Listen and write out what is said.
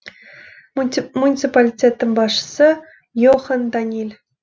муниципалитеттің басшысы йохан даниль